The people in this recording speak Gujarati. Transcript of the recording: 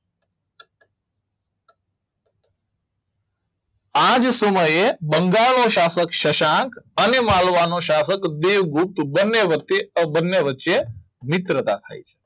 આ જ સમયે બંગાળનો શાસક અને માળવાનો શાસક દેવગુપ્ત બંને વચ્ચે મિત્રતા થાય છે